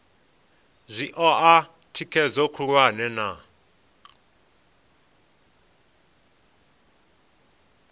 zwi oa thikhedzo khulwane na